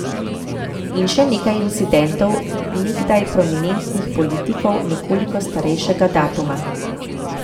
In še nekaj incidentov nekdaj prominentnih politikov nekoliko starejšega datuma.